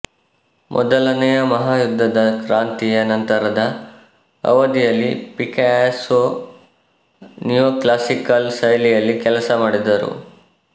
ಮೊದಲನೆಯ ಮಹಾಯುದ್ಧದ ಕ್ರಾಂತಿಯ ನಂತರದ ಅವಧಿಯಲ್ಲಿ ಪಿಕಾಸೊ ನಿಯೋಕ್ಲಾಸಿಕಲ್ ಶೈಲಿಯಲ್ಲಿ ಕೆಲಸ ಮಾಡಿದರು